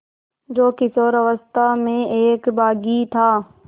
जो किशोरावस्था में एक बाग़ी था